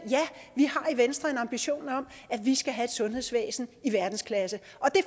venstre har en ambition om at vi skal have et sundhedsvæsen i verdensklasse